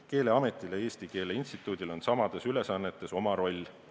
Keeleametil ja Eesti Keele Instituudil on samades ülesannetes oma roll.